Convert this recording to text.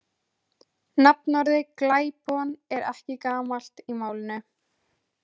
Nafnorðið glæpon er ekki gamalt í málinu.